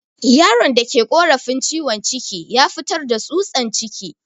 Yaron da ke korafin ciwon ciki ya fitar da tsutsan ciki.